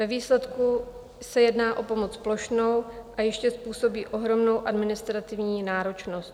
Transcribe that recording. Ve výsledku se jedná o pomoc plošnou a ještě způsobí ohromnou administrativní náročnost.